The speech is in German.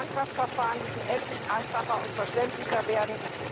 Die Antragsverfahren müssen endlich einfacher und verständlicher werden.